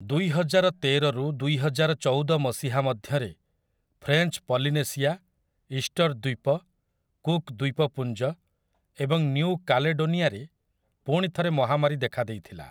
ଦୁଇହଜାର ତେରରୁ ଦୁଇହଜାର ଚଉଦ ମସିହା ମଧ୍ୟରେ ଫ୍ରେଞ୍ଚ୍ ପଲିନେସିଆ, ଇଷ୍ଟର୍ ଦ୍ୱୀପ, କୁକ୍ ଦ୍ୱୀପପୁଞ୍ଜ ଏବଂ ନ୍ୟୁ କାଲେଡୋନିଆରେ ପୁଣିଥରେ ମହାମାରୀ ଦେଖାଦେଇଥିଲା।